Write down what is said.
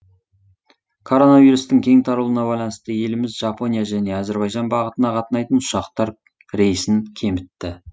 короновирустың кең таралуына байланысты еліміз жапония және әзірбайжан бағытына қатынайтын ұшақтар рейсін кемітті